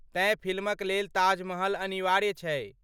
तेँ फिल्म लेल ताजमहल अनिवार्य छै।